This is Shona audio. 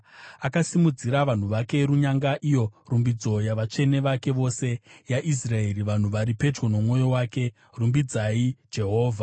Akasimudzira vanhu vake runyanga, iyo rumbidzo yavatsvene vake vose, yaIsraeri, vanhu vari pedyo nomwoyo wake. Rumbidzai Jehovha.